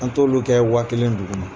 An t'olu kɛ waa kelen dugu ma